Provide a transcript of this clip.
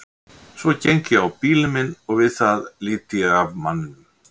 Svo geng ég á bílinn minn og við það lít ég af manninum.